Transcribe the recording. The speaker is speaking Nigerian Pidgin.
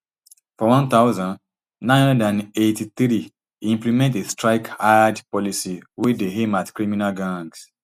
for one thousand, nine hundred and eighty-three e implement a strike hard policy wey dey aim at criminal gangs